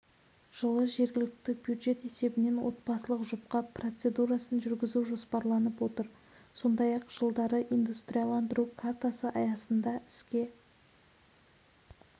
жылы жергілікті бюджет есебінен отбасылық жұпқа процедурасын жүргізу жоспарланып отыр сондай-ақ жылдары индустриаландыру картасы аясында іске